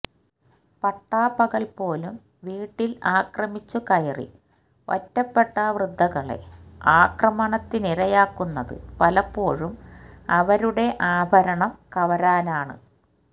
പട്ടാപ്പകല്പോലും വീട്ടില് ആക്രമിച്ചു കയറി ഒറ്റപ്പെട്ട വൃദ്ധകളെ ആക്രമണത്തിനിരയാക്കുന്നത് പലപ്പോഴും അവരുടെ ആഭരണം കവരാനാണ്